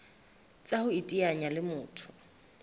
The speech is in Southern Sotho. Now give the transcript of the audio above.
tsa ho iteanya le motho